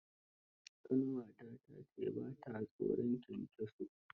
Ƙanwata ta ce ba ta tsoron kyankyaso.